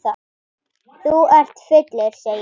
Þú ert fullur, segir hún.